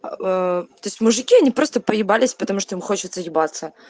ээ то есть мужики они просто поебались потому что им хочется ебаться